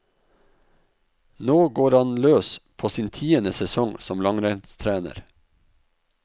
Nå går han løs på sin tiende sesong som langrennstrener.